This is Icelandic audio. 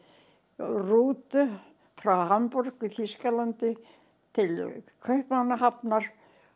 rútu frá Hamborg í Þýskalandi til Kaupmannahafnar